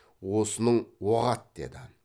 осының оғат деді